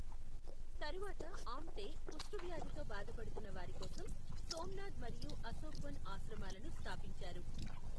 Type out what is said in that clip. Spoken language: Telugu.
తరువాత ఆమ్టే కుష్టు వ్యాధితో బాధపడుతున్న వారి కోసం సోమ్నాథ్ మరియు అశోక్వన్ ఆశ్రమాలను స్థాపించారు.